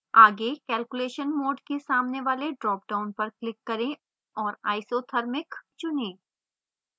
आगे calculation mode के सामने वाले dropdown पर click करें और isothermic चुनें